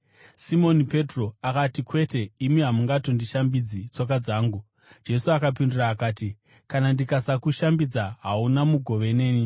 Simoni Petro akati, “Kwete, imi hamungatongoshambidzi tsoka dzangu.” Jesu akapindura akati, “Kana ndikasakushambidza, hauna mugove neni.”